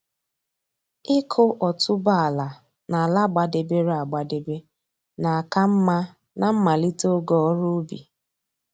Ịkụ otuboala n'ala gbadebere agbadebe na-aka mma na mmalite oge ọrụ ubi